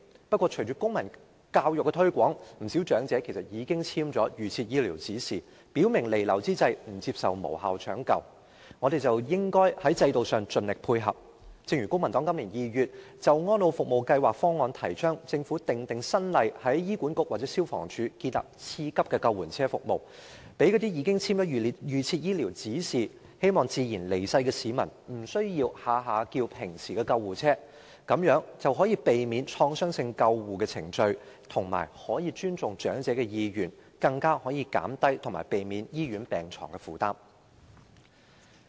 不過，隨着公民教育的推廣，不少長者其實已簽署預設醫療指示，表明彌留之際不接受無效搶救，我們應在制度上盡力配合，例如公民黨在今年2月就安老服務計劃方案提倡政府訂定新例，在醫管局或消防處建立次級的救援車服務，讓那些已簽署預設醫療指示，希望自然離世的市民，不需要動輒召喚一般救護車，這樣便可以避免創傷性救護程序，亦可以尊重長者意願，更可以減低醫院病床的負擔。